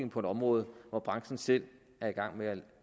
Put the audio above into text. på et område hvor branchen selv er i gang med at